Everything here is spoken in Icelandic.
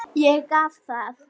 Ég gaf það.